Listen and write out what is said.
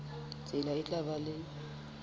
tsela e tla ba le